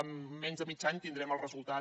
en menys de mig any tindrem el resultat